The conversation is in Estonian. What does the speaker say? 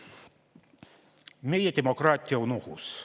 Meie demokraatia on ohus.